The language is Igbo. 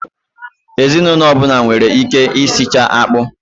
Ezinụlọ ọbụla nwere ike i sichaa akpụ.